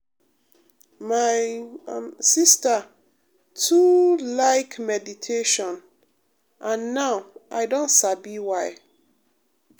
my um sister too um like meditation um and now i don sabi why.